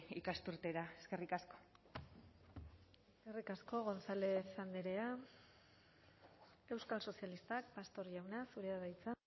ikasturtera eskerrik asko eskerrik asko gonzález andrea euskal sozialistak pastor jauna zurea da hitza